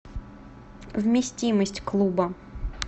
вместимость клуба